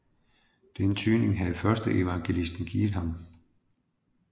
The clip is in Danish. Den tydning havde først evangelisten givet ham